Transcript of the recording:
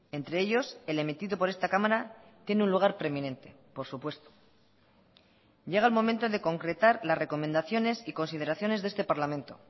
entre ellos el emitido por esta cámara tiene un lugar preeminente por supuesto llega el momento de concretar las recomendaciones y consideraciones de este parlamento